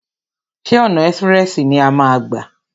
Ṣé ọ̀nà ẹ́sprẹ̀sì ni a máa a gbà?